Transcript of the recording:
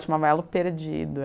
chamava Elo perdido.